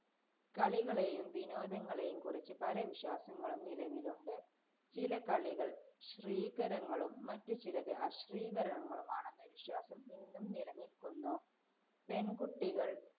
കളികളെയും വിനോദങ്ങളെയും കുറിച്ച് പല വിശ്വാസങ്ങളും നിലവിലുണ്ട്. ചില കളികള്‍ ശ്രീകരങ്ങളും, മററു ചിലത് അശ്രീകരങ്ങളുമാണെന്ന വിശ്വാസം ഇന്നും നിലനില്ക്കുന്നു, പെണ്‍കുട്ടികള്‍